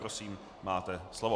Prosím, máte slovo.